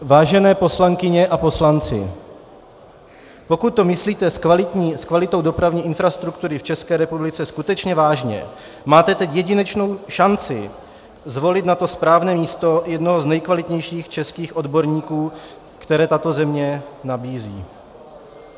Vážené poslankyně a poslanci, pokud to myslíte s kvalitou dopravní infrastruktury v České republice skutečně vážně, máte teď jedinečnou šanci zvolit na to správné místo jednoho z nejkvalitnějších českých odborníků, které tato země nabízí.